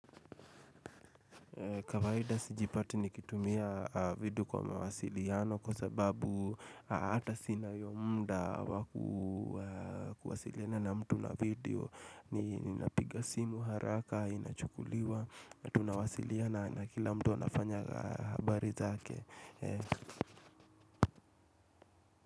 Kawaida sijipati nikitumia video kwa mawasiliano kwa sababu hata sina hiyo muda waku kuwasiliana na mtu na video Ninapiga simu haraka, inachukuliwa, tunawasiliana na kila mtu wanafanya habari zake.